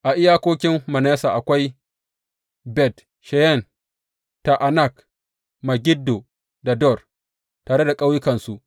A iyakokin Manasse akwai Bet Sheyan, Ta’anak, Megiddo da Dor, tare da ƙauyukansu.